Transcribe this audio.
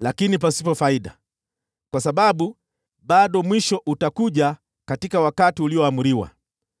lakini pasipo faida, kwa sababu bado mwisho utakuja katika wakati ulioamriwa.